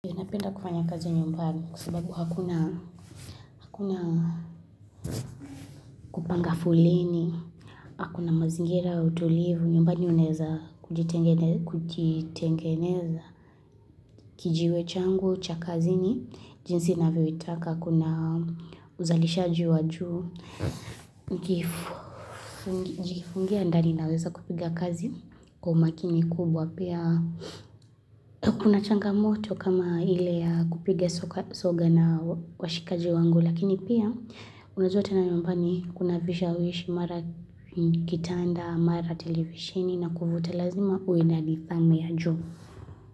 Napenda kufanya kazi nyumbani kwa sababu hakuna kupanga foleni, kuna mazingira ya utulivu, nyumbani unaeza kujitengeneza, kijiwe changu cha kazini jinsi navyoitaka, kuna uzalisha wa juu, Nikijifungia ndani naweza kupiga kazi kwa umakini kubwa pia. Kuna changamoto kama ile ya kupiga soga na washikaji wangu Lakini pia unajua tena nyumbani kuna vishawishi mara kitanda, mara televisheni na kufuta lazima uwe na nidhamu ya juu.